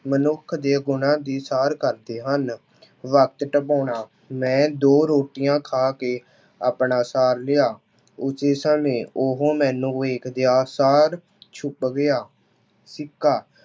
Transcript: ਮਨੁੱਖ ਦੀ ਗੁਣਾਂ ਦੀ ਸਾਰ ਕਰਦੇ ਹਨ। ਵਕਤ ਟਪਾਉਣਾ- ਮੈਂ ਦੋ ਰੋਟੀਆਂ ਖਾ ਕੇ ਆਪਣਾ ਸਾਰ ਲਿਆ। ਉਸੇ ਸਮੇਂ ਉਹ ਮੈਨੂੰ ਵੇਖਦਿਆਂ ਸਾਰ ਛੁਪ ਗਿਆ। ਸਿੱਕਾ